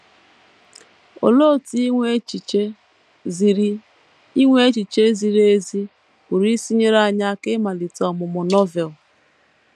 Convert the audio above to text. Olee otú inwe echiche ziri inwe echiche ziri ezi pụrụ isi nyere anyị aka ịmalite ọmụmụ Novel?